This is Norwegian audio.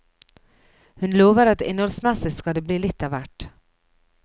Hun lover at innholdsmessig skal det bli litt av hvert.